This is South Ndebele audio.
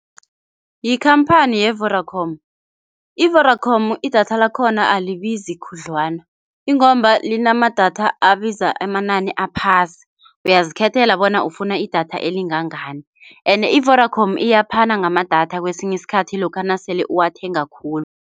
Yikhamphani ye-Vodacom. I-Vodacom idatha lakhona alibizi khudlwana ingomba linamadatha abiza amanani aphasi, uyazikhethela bona ufuna idatha elingangani ene i-vodacom iyaphana ngamadatha kwesinye isikhathi lokha nasele uwathenga khulu.